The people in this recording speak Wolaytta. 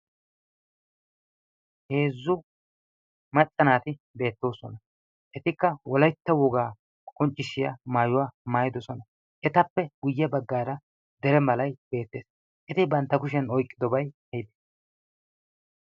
heezzu maccanaati beettoosona . etikka wolaitta wogaa qonccishshiyaa maayuwaa maayidosona. etappe guyye baggaara dere malai beettees. eti bantta kushiyan oiqqidobai aipe